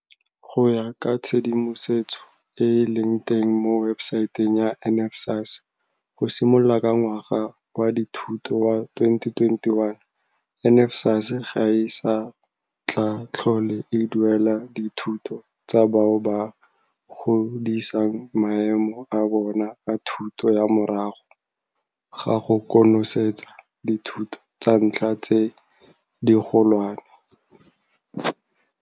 Go ya ka tshedimosetso e e leng teng mo webesaeteng ya NSFAS, go simolola ka ngwaga wa dithuto wa 2021, NSFAS ga e sa tla tlhole e duelela dithuto tsa bao ba godisang maemo a bona a thuto ya morago ga go konosetsa dithuto tsa ntlha tse digolwane.